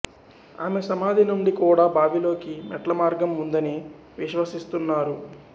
ఆమె సమాధి నుండి కూడా బావిలోకి మెట్ల మార్గం ఉందని విశ్వసిస్తున్నారు